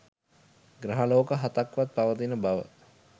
ග්‍රහලෝක හතක් වත් පවතින බව